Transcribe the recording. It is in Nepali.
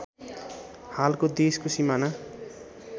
हालको देशको सिमाना